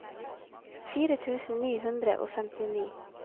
fire tusen ni hundre og femtini